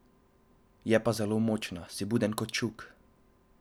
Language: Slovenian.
Je pa zelo močna, si buden kot čuk.